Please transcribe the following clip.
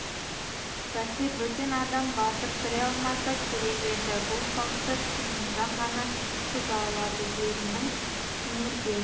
бәсе бөтен адам батып кіре алмаса керек еді бұл салтты күнімжан ғана бұза алады ерінің түнерген